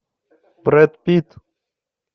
брэд питт